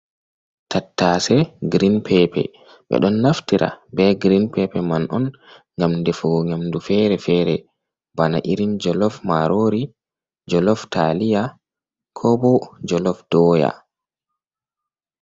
Tattase green paper ɓe ɗon naftira be green pape man on ngam defugo nyamdu fere-fere, bana irin jolof marori jolof talia ko bo jolof doyah.